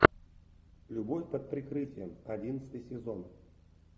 любовь под прикрытием одиннадцатый сезон